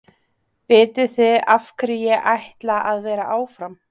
Vitiði af hverju ég ætla að vera áfram?